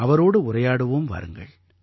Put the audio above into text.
அவரோடு உரையாடுவோம் வாருங்கள்